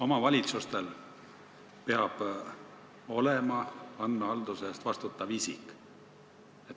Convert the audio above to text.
Omavalitsustes peab olema andmehalduse eest vastutav isik.